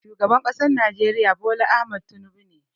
Shugaban ƙasar najeriya Bola Ahmed Tinubu ne